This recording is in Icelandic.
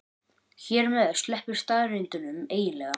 Hér með sleppir staðreyndunum eiginlega.